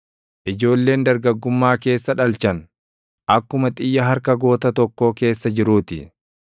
Ijoolleen dargaggummaa keessa dhalchan, akkuma xiyya harka goota tokkoo keessa jiruu ti.